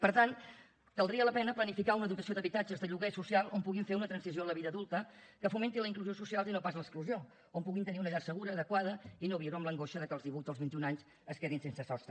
per tant valdria la pena planificar una dotació d’habitatges de lloguer social on puguin fer una transició a la vida adulta que fomenti la inclusió social i no pas l’exclusió on puguin tenir una llar segura adequada i no viure amb l’angoixa que als divuit o als vint i un anys es quedin sense sostre